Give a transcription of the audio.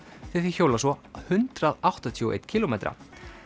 því þeir hjóla svo hundrað áttatíu og einn kílómetra